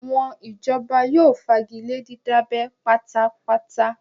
Àwọn ìjọba yóò fagilé dídábẹ́ pátá pátá